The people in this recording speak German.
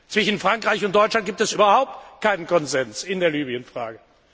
Zwischen Frankreich und Deutschland gibt es überhaupt keinen Konsens in der Libyen Frage.